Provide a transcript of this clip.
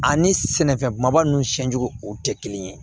Ani sɛnɛfɛn kumaba nunnu siɲɛ jugu o tɛ kelen ye